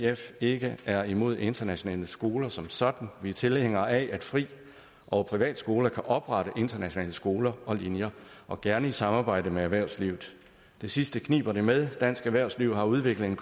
ikke er imod internationale skoler som sådan vi er tilhængere af at fri og privatskoler kan oprette internationale skoler og linjer og gerne i samarbejde med erhvervslivet det sidste kniber det med dansk erhvervsliv har udviklet en